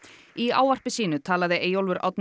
í ávarpi sínu talaði Eyjólfur Árni